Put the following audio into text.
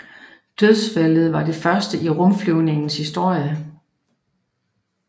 Dødsfaldet var det første i rumflyvningens historie